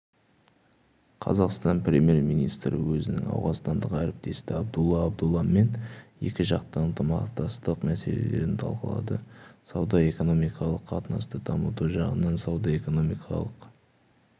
қазақстан премьер-министрі өзінің ауғанстандық әріптесі абдулла абдулламен екіжақты ынтымақтастық мәселелерін талқылады сауда-экономикалық қатынасты дамыту жағынан сауда-экономикалық